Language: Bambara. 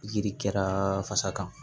Yiri kɛra fasa kan